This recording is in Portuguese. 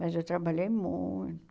Mas eu trabalhei muito.